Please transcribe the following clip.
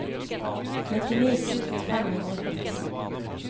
nittini tusen fem hundre og førtito